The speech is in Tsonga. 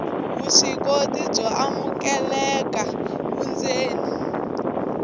vuswikoti byo amukeleka vundzeni